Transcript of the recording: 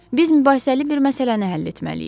Biz mübahisəli bir məsələni həll etməliyik.